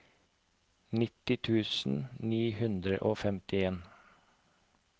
nitti tusen ni hundre og femtien